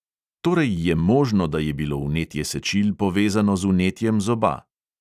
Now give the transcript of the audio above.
Torej je možno, da je bilo vnetje sečil povezano z vnetjem zoba.